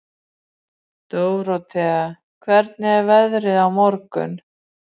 Dórótea, hvernig er veðrið á morgun?